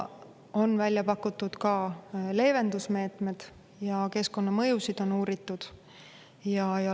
On välja pakutud ka leevendusmeetmed ja keskkonnamõjusid on uuritud.